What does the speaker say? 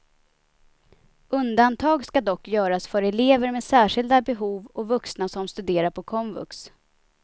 Undantag ska dock göras för elever med särskilda behov och vuxna som studerar på komvux.